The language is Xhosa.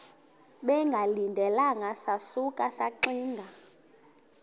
bengalindelanga sasuka saxinga